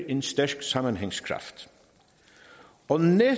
en stærkt sammenhængskraft